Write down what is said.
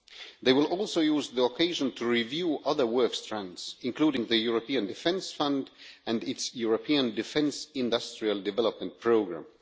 They will also use the occasion to review other work strands including the European Defence Fund and its European Defence Industrial Development Programme.